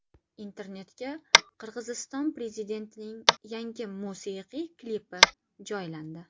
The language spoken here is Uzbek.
Internetga Qirg‘iziston prezidentining yangi musiqiy klipi joylandi .